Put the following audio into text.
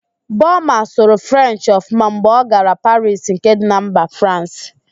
Boma sụrụ Frenchị ọfụma mgbe ọ gara Parisi nke dị na mba Fransị